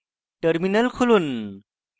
terminal খুলুন